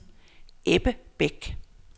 Ebbe Bæk